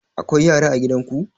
Akwai yara a gidan ku?